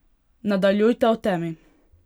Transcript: Nadaljujta v temi!